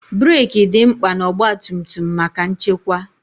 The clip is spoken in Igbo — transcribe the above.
breeki dị mkpa na ọgba tum tum maka nchekwa.